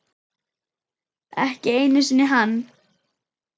Ekki einu sinni hann.